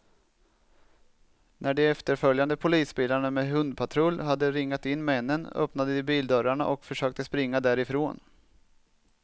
När de efterföljande polisbilarna med hundpatrull hade ringat in männen, öppnade de bildörrarna och försökte springa därifrån.